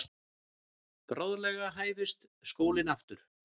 Bráðlega hæfist skólinn aftur.